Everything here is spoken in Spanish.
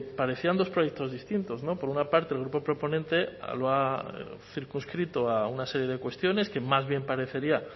parecían dos proyectos distintos por una parte el grupo proponente lo ha circunscrito a una serie de cuestiones que más bien parecería